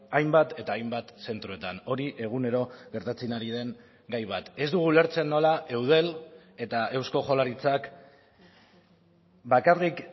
hainbat eta hainbat zentroetan hori egunero gertatzen ari den gai bat ez dugu ulertzen nola eudel eta eusko jaurlaritzak bakarrik